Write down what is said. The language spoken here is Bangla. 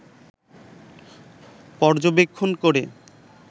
পর্যবেক্ষণ করে